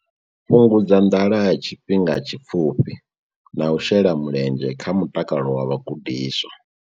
Fhungudza nḓala ya tshifhinga tshipfufhi na u shela mulenzhe kha mutakalo wa vhagudiswa.